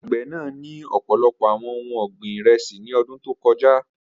Agbẹ naa ni ọpọlọpọ awọn ohun ọgbin iresi ni ọdun to kọja.